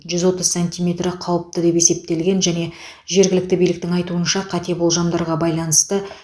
жүз отыз сантиметрі қауіпті деп есептелген және жергілікті биліктің айтуынша қате болжамдарға байланысты